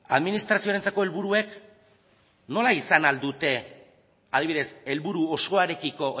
administraziorentzako helburuek nola izan ahal dute adibidez helburu osoarekiko